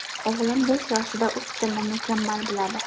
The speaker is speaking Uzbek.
O‘g‘lim besh yoshida uch tilni mukammal biladi.